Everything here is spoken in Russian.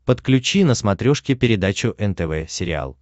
подключи на смотрешке передачу нтв сериал